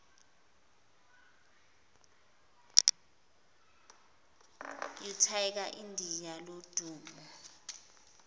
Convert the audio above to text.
utiger indiya lodumo